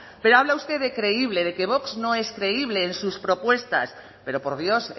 pero habla usted de creíble de que vox no es creíble en sus propuestas pero por dios